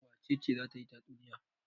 Wace ce za ta yi tatsunniya?